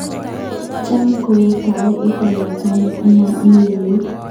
Cham ko tau ing lakwandit anan imi ietu.